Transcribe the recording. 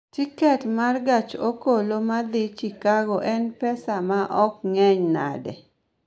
Tiket ma gach okoloma dhi Chicago en pesa maom ng�eny nade?